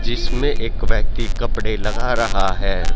जिसमें एक व्यक्ति कपड़े लगा रहा है।